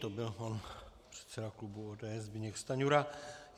To byl pan předseda klubu ODS Zbyněk Stanjura.